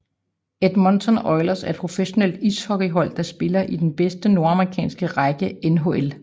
Edmonton Oilers er et professionelt ishockeyhold der spiller i den bedste nordamerikanske række NHL